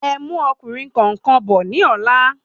Ẹmú ọkùnrin kọ̀ọ̀kan bò ní ọ̀la